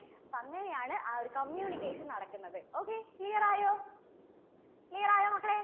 അപ്പോ അങ്ങനെയാണ് ആ ഒരു communication നടക്കുന്നത്. okay. clear ആയോ? clear ആയോ മക്കളെ?